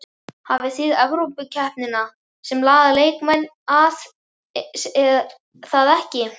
Þið hafið Evrópukeppnina sem laðar leikmenn að er það ekki?